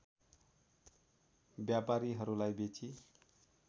व्यापारीहरूलाई बेची